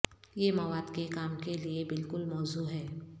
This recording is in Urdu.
یہ مواد کے کام کے لئے بالکل موزوں ہے